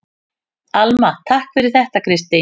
Alma: Takk fyrir þetta Kristín.